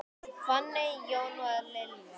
Fanney, Jón og Lilja.